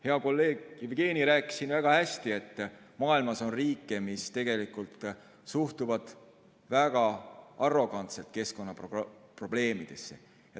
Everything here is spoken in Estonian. Hea kolleeg Jevgeni rääkis siin väga hästi, et maailmas on riike, mis tegelikult suhtuvad väga arrogantselt keskkonnaprobleemidesse.